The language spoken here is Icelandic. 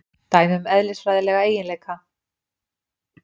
Dæmi um eðlisfræðilega eiginleika.